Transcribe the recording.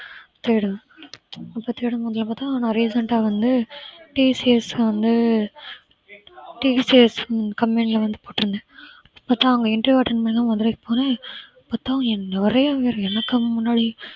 தேடுவேன் இப்ப பார்த்தா நான் recent ஆ வந்து டிசிஎஸ் வந்து TCScompany ல வந்து போட்டிருந்தே இப்பதா அவங்க interview attend பண்ண மதுரைக்கு போறே பாத்தா என் நெறைய பேரு எனக்கு முன்னாடி